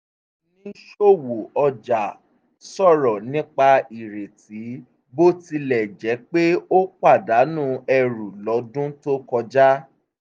oníṣòwò ọjà sọ̀rọ̀ nípa ireti bó tilẹ̀ jẹ́ pé ó pàdánù ẹrù lọ́dún tó kọjá